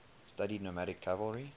studied nomadic cavalry